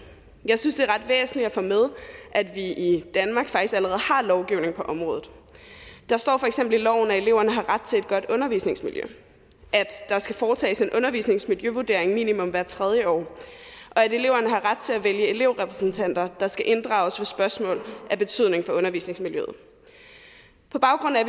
jeg synes det er ret væsentligt at få med at vi i danmark faktisk allerede har lovgivning på området der står for eksempel i loven at eleverne har ret til et godt undervisningsmiljø at der skal foretages en undervisningsmiljøvurdering minimum hvert tredje år og at eleverne har ret til at vælge elevrepræsentanter der skal inddrages ved spørgsmål af betydning for undervisningsmiljøet på baggrund af